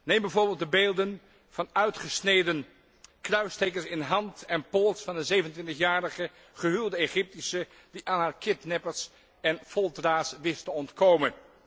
Neem bijvoorbeeld de beelden van uitgesneden kruistekens in hand en pols van de 27 jarige gehuwde Egyptische die aan haar kidnappers en folteraars wist te ontkomen.